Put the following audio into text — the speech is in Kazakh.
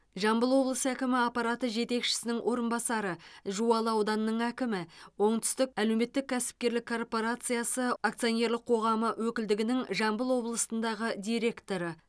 жамбыл облысы әкімі аппараты жетекшісінің орынбасары жуалы ауданының әкімі оңтүстік әлеуметтік кәсіпкерлік корпорациясы акционерлік қоғамы өкілдігінің жамбыл облысындағы директоры